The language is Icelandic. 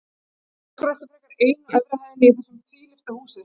Ég skrölti frekar ein á efri hæðinni í þessu tvílyfta húsi.